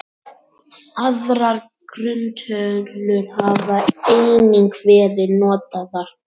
Aðrar grunntölur hafa einnig verið notaðar.